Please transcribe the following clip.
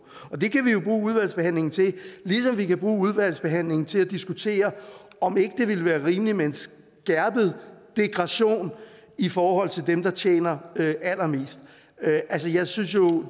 det kan vi jo bruge udvalgsbehandlingen til ligesom vi kan bruge udvalgsbehandlingen til at diskutere om ikke det ville være rimeligt med en skærpet degression i forhold til dem der tjener allermest jeg synes jo